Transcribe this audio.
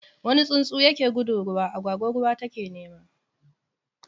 wani tsuntsu ya ke gudu ruwa, agwagwa ruwa ta ke nema.